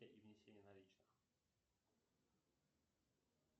салют какие виды полиглота ты знаешь